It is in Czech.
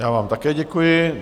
Já vám také děkuji.